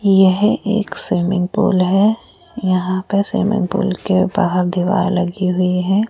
यह एक swimming pool है यहाँ पर स्विमिंग पूल के बाहर दिवाल लगी हुई है।